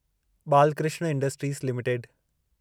Balkrishna industries limited